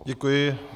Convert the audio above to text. Děkuji.